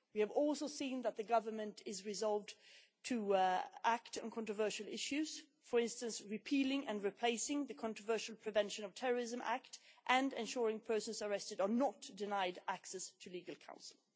We have also seen that the Government is resolved to act on controversial issues, for instance repealing and replacing the controversial Prevention of Terrorism Act, and ensuring that persons arrested are not denied access to legal counsel.